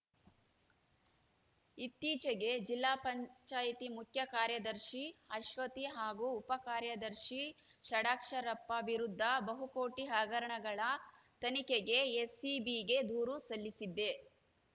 ಇತ್ತೀಚಿಗೆ ಜಿಲ್ಲಾ ಪಂಚಾಯತಿ ಮುಖ್ಯ ಕಾರ್ಯದರ್ಶಿ ಅಶ್ವತಿ ಹಾಗೂ ಉಪ ಕಾರ್ಯದರ್ಶಿ ಷಡಾಕ್ಷರಪ್ಪ ವಿರುದ್ಧ ಬಹುಕೋಟಿ ಹಗರಣಗಳ ತನಿಖೆಗೆ ಎಸಿಬಿಗೆ ದೂರು ಸಲ್ಲಿಸಿದ್ದೆ